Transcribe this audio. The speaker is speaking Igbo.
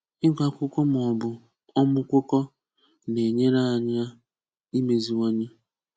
Ị̀gụ̀ Akwụkwọ̀ mà ọ̀ bụ̀ ọmụ̀kụkọ̀ na-enyèrèànyị̀ imeziwà̀nyè